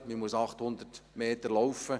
Man muss 800 Meter gehen.